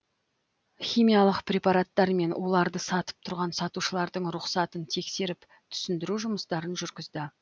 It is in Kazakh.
химиялық препараттар мен уларды сатып тұрған сатушылардың рұқсатын тексеріп түсіндіру жұмыстарын жүргізді